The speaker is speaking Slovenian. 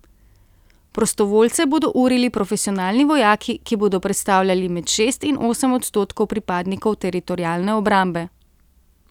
Prostovoljce bodo urili profesionalni vojaki, ki bodo predstavljali med šest in osem odstotkov pripadnikov teritorialne obrambe.